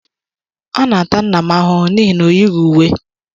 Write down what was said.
Ana-ata nna m ahụhụ n’ihi na o yighị uwe.